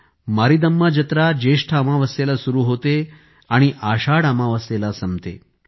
मारीदम्मा जत्रा ज्येष्ठ अमावास्येला सुरु होते आणि आषाढ अमावास्येला संपते